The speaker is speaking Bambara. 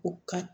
U ka